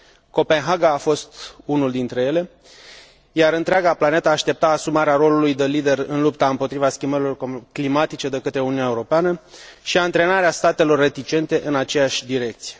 Copenhaga a fost unul dintre ele, iar întreaga planetă aștepta asumarea rolului de lider, în lupta împotriva schimbărilor climatice, de către Uniunea Europeană și antrenarea statelor reticente în aceeași direcție.